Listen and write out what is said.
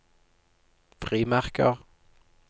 frimerker